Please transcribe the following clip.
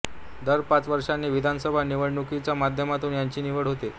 दर पाच वर्षांनी विधानसभा निवडणुकीच्या माध्यमातून याची निवड होते